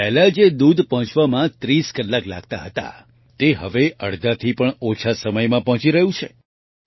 પહેલા જે દૂધ પહોંચવામાં 30 કલાક લાગતું હતું તે હવે અડધાથી પણ ઓછા સમયમાં પહોંચી રહ્યું છે